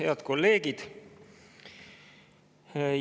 Head kolleegid!